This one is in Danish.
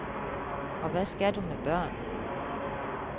Og hvad skal du med børn?